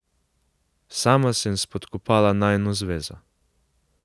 Sama sem spodkopala najino zvezo.